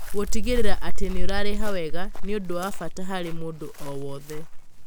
Gũtigĩrĩra atĩ nĩ ũrarĩha wega nĩ ũndũ wa bata harĩ mũndũ o wothe.